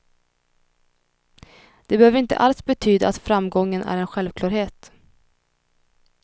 Det behöver inte alls betyda att framgången är en självklarhet.